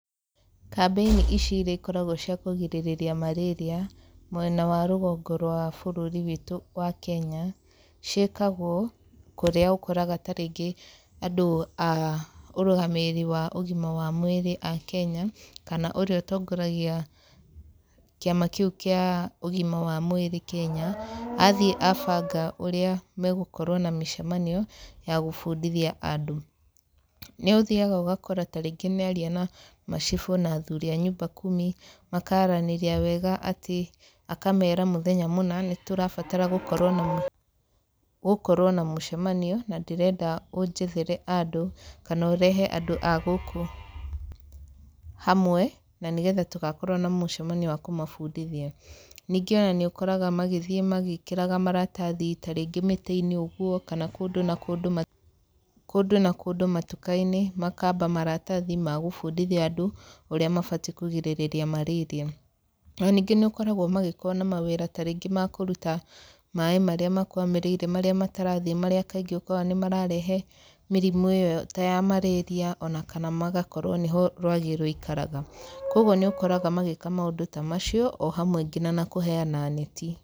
Kambĩini ici irĩa ikoragwo cia kũgirĩrĩria marĩria mwena wa rũgongo rwa bũrũri witũ wa Kenya, ciĩkagwo kũrĩa ũkoraga ta rĩngĩ andũ a ũrũgamĩrĩri wa ũgima wa mwĩrĩ a Kenya kana ũrĩa ũtongoragia kĩama kĩu kĩa ũgima wa mwĩrĩ Kenya, athiĩ abanga ũrĩa megũkorwo na mĩcemanio ya gũbundithia andũ. Nĩ ũthiaga ũgakora ta rĩngĩ nĩ aria na ma cifũ na athuri a nyumba kumi, makaaranĩria wega atĩ akamera mũthenya mũna tũrabatara gũkorwo na mũcemanio na ndĩrenda ũnjethere andũ kana ũrehe andũ a gũkũ hamwe na nĩgetha tũgakorwo na mũcemanio wa kũmabundithia. Ningĩ ona nĩ ũkoraga magĩthiĩ magĩĩkĩraga maratathi ta rĩngĩ mĩtĩ-inĩ ũguo kand kũndũ na kũndũ matuka-inĩ makaamba maratathi ma gũbundithia andũ ũrĩa mabatiĩ kũgirĩrĩria marĩria. No ningĩ nĩ ũkoragwo magĩkorwo na mawĩra ta rĩngĩ makũruta maĩ marĩa makwamĩrĩire, marĩa matarathiĩ, marĩa kaingĩ ũkoraga nĩ mararehe mĩrimũ iyo ta ya marĩria, ona kana magakorwo nĩho rwagĩ rũikaraga . Koguo nĩ ũkoraga magĩka maũndũ ta macio o hamwe nginya na kũheana neti.